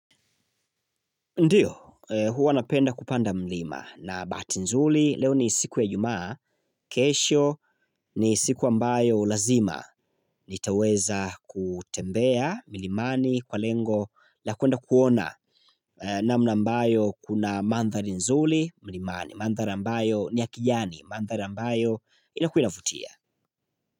Ndiyo hua napenda kupanda mlima na bahati nzuri leo ni siku ya ijumaa kesho ni siku ambayo lazima nitaweza kutembea milimani kwa lengo la kuenda kuona namna ambayo kuna mandhari nzuri milimani mandhari ambayo ni ya kijani mandhari ambayo inakua inavutia.